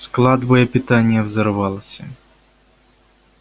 склад боепитания взорвался